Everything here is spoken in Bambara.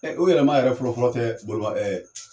Ɛ u yɛrɛ maa yɛrɛ fɔlɔ fɔlɔ tɛ bolima ɛɛ